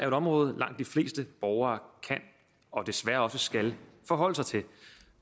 et område langt de fleste borgere kan og desværre også skal forholde sig til